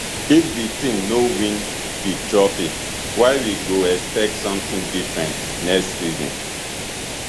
if di team no win di trophy why we go expect sometin different next season